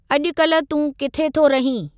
अॼुकल्ह तूं किथे थो रहीं ?